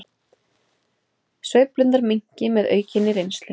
Sveiflurnar minnki með aukinni reynslu